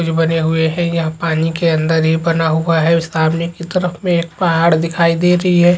कुछ बने हुए है यहाँ पानी के अंदर ही बना हुआ है सामने की तरफ में एक पहाड़ दिखाई दे रही है।